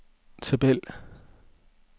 tabel